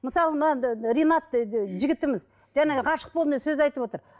мысалы мына ринат жігітіміз жаңа ғашық болдым деп сөз айтып отыр